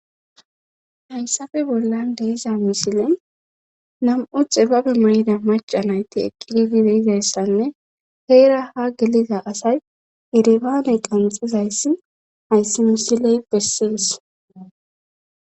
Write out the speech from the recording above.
Hayssafe bollan deeza misilen nam7u xibabe may7ida maca nayti eqqididi deizayssanne heera ha geliza asay iribaaney qanxizayssi hayssi misiley bessies.